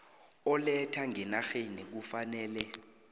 oletha ngenarheni kufanele